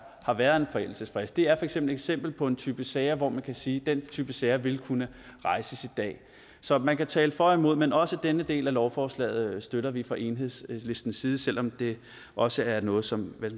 har været en forældelsesfrist det er et eksempel på en type sager hvor man kan sige at den type sager vil kunne rejses i dag så man kan tale for og imod men også denne del af lovforslaget støtter vi fra enhedslistens side selv om det også er noget som hvad